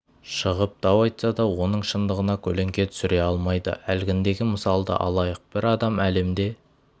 шығып дау айтса да оның шындығына көлеңке түсіре алмайды әлгіндегі мысалды алайық бір адам әлемде